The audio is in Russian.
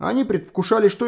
они предвкушали что